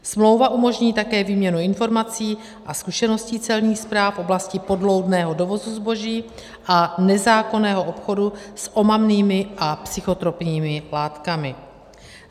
Smlouva umožní také výměnu informací a zkušeností celních správ v oblasti podloudného dovozu zboží a nezákonného obchodu s omamnými a psychotropními látkami.